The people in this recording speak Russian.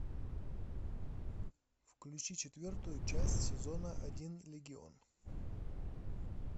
включи четвертую часть сезона один легион